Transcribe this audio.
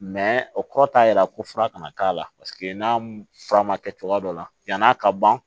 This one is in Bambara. o kɔrɔ t'a yira ko fura kana k'a la paseke n'a fura ma kɛ cogoya dɔ la yan'a ka ban